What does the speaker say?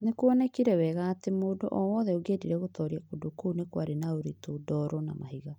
nĩ kuonekire wega atĩ mũndũ o wothe ũngĩendire gũtooria kũndũ kũu kwarĩ na ũritũ, ndooro, na mahiga